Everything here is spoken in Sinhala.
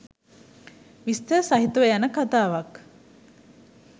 විස්තර සහිතව යන කතාවක්.